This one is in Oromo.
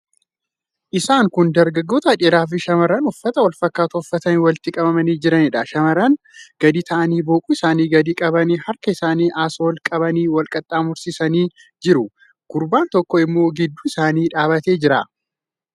Isaan kun dargaggoota dhiiraa fi shamarran uffata wal fakkaataa uffatanii walitti qabamanii jiranidha. Shamarran gadi taa'anii, boquu isaanii gadi qabanii, harka isaanii asii ol qabanii wal qaxxaamursanii jiru. Gurbaan tokko immoo gidduu isaanii dhaabbatee jira.